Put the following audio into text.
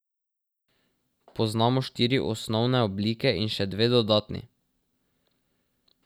Poznamo štiri osnovne oblike in še dve dodatni.